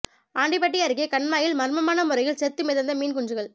ஆண்டிபட்டி அருகே கண்மாயில் மர்மமான முறையில் செத்து மிதந்த மீன் குஞ்சுகள்